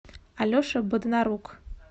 алеша боднарук